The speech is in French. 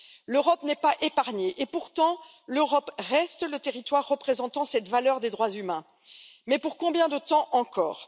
L'Europe n'est pas épargnée, et pourtant elle reste le territoire représentant cette valeur des droits humains, mais pour combien de temps encore?